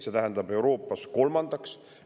See tähendab Euroopas kolmandat kohta.